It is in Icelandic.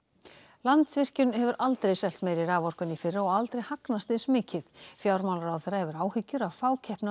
Landsvirkjun hefur aldrei selt meiri raforku en í fyrra og aldrei hagnast eins mikið fjármálaráðherra hefur áhyggjur af fákeppni á